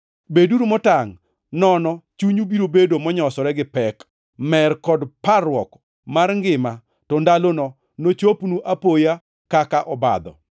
“Beduru motangʼ, nono chunyu biro bedo monyosore gi pek, mer kod parruok mar ngima to ndalono nochopnu apoya kaka obadho.